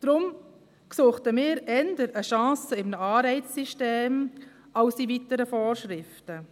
Daher sähen wir eher eine Chance in einem Anreizsystem denn in weiteren Vorschriften.